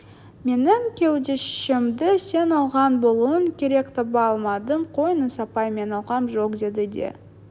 менің кеудешемді сен алған болуың керек таба алмадым қойыңыз апай мен алғам жоқ деді де